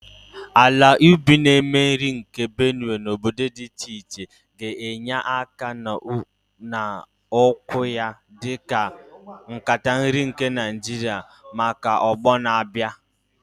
Ala ubi na-eme nri nke Benue na obodo dị iche iche ga-enye aka n'ọkwa ya dị ka "Nkata nri nke Naijiria " maka ọgbọ na-abịa.